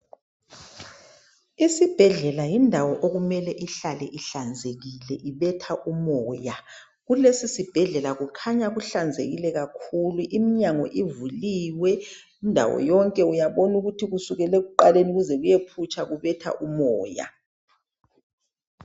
Isibhedlela yindawo okumele ihlale ihlanzekile ibetha umoya. Kulesi zibhedlela kukhanya kuhlanzekile kakhulu. Iminyango ivuliwe indawo yonke, uyabona ukuthi kusukela ekuqaleni kuze kuyephutsha kubetha umoya.